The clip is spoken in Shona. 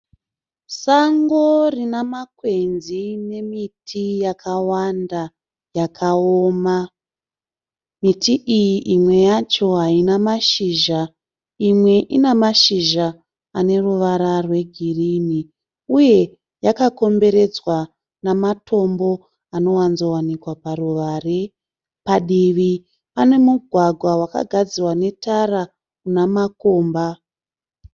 Sango rine makwenzi nemiti yakawanda yakaoma. Miti iyi imwe yacho haina mashizha imwe ine mashizha ane ruvara rwegirinhi uye yakakomberedzwa nematombo anowanzowanikwa paruvare. Padivi pane mugwagwa kugadzirwa netara une makomba.